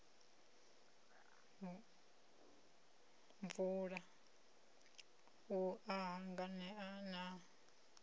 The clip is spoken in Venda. mvula u a hanganea na